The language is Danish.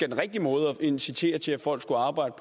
en rigtig måde at incitere til at folk skal arbejde